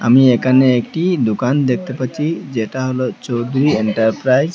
আমি একানে একটি দোকান দেখতে পাচ্চি যেটা হলো চৌধুরী এন্টারপ্রাইজ ।